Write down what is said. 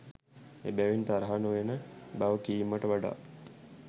එබැවින් තරහ නොයන බව කීමට වඩා